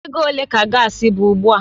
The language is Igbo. Ego ole ka gaasi bụ ugbu a?